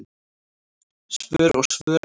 Svör og svör ekki.